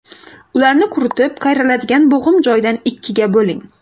Ularni quritib, qayriladigan bo‘g‘im joyidan ikkiga bo‘ling.